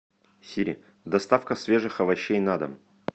сири доставка свежих овощей на дом